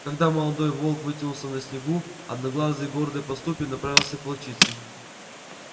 когда молодой волк вытянулся на снегу одноглазый гордой поступью направился к волчице